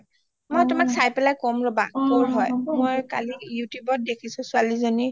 মই তোমাক চাই পেলাই কম ৰবা কৰ হয় মই কালি youtubeত দেখিছোঁ ছোৱালী জনিক